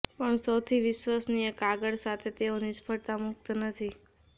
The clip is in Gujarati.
પણ સૌથી વિશ્વસનીય કાગળ સાથે તેઓ નિષ્ફળતા મુક્ત નથી